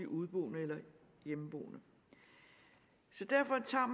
udeboende eller hjemmeboende derfor tager